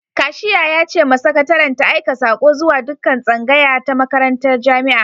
Kashiya ya ce ma sakataren ta aika sako zuwa dukkan tsngaya ta makarantar jami'a.